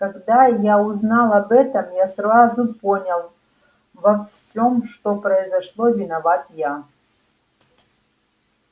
когда я узнал об этом я сразу понял во всем что произошло виноват я